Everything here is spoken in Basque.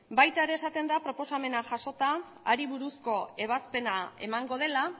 baita ere esaten da proposamena jasota hari buruzko ebazpena emango dela